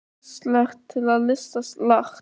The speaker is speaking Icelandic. Þér virðist ýmislegt til lista lagt.